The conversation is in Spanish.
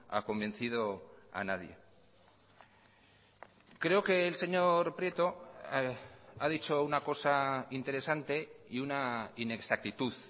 ha convencido a nadie creo que el señor prieto ha dicho una cosa interesante y una inexactitud